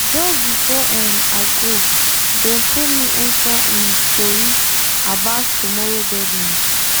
just before um i go dem pull me enter um tori about tomorrow deadline.